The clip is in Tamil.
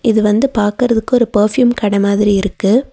இது வந்து பாக்கற்துக்கு ஒரு பர்ஃப்யூம் கட மாதிரி இருக்கு.